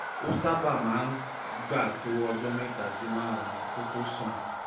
ó um sábà máa ń gbà tó ọjọ́ mẹ́ta sí márùn-ún kó tó um sàn